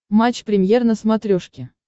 матч премьер на смотрешке